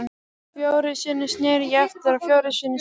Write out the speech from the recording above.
Fjórum sinnum sneri ég aftur og fjórum sinnum sagði